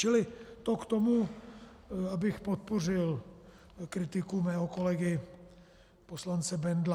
Čili to k tomu, abych podpořil kritiku svého kolegy poslance Bendla.